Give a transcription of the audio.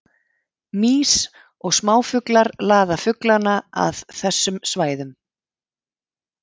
Mýs og smáfuglar laða fuglana að að þessum svæðum.